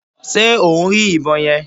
Ṣe o ń rí ìbọn yẹn?